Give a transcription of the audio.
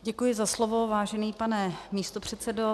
Děkuji za slovo, vážený pane místopředsedo.